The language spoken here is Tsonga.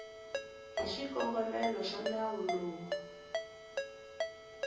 hi swikongomelo swa nawu lowu